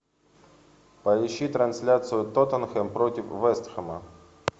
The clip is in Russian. поищи трансляцию тоттенхэм против вест хэма